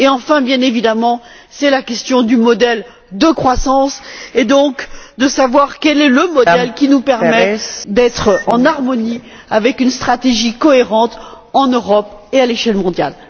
Et enfin, bien évidemment, se pose la question du modèle de croissance et donc de savoir quel est le modèle qui nous permet d'être en harmonie avec une stratégie cohérente en Europe et à l'échelle mondiale.